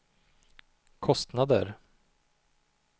kostnader